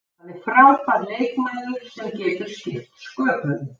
Hann er frábær leikmaður sem getur skipt sköpum.